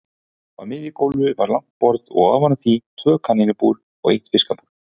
Á miðju gólfi var langt borð og ofan á því tvö kanínubúr og eitt fiskabúr.